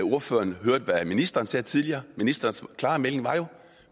ordføreren hørte hvad ministeren sagde tidligere ministerens klare melding var jo